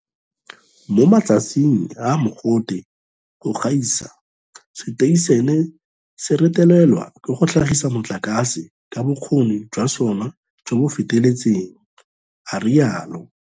Mo matsatsing a a mogote go gaisa, seteišene se retelelwa ke go tlhagisa motlakase ka bokgoni jwa sona jo bo feletseng, a rialo.